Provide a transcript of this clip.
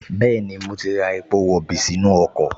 Bẹ́ẹ̀ni, mo ti ra epo rọ̀bì sínú ọkọ̀